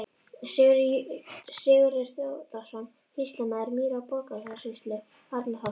Sigurður Þórðarson, sýslumaður Mýra- og Borgarfjarðarsýslu, Arnarholti.